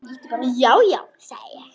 Já, já, sagði ég.